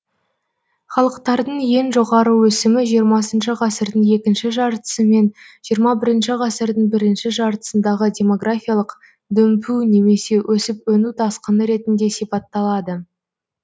халықтардың ең жоғары өсімі жиырмасыншы ғасырдың екінші жартысы мен жиырма бірінші ғасырдың бірінші жартысындағы демографиялық дүмпу немесе өсіп өну тасқыны ретінде сипатталады